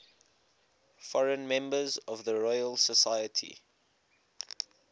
foreign members of the royal society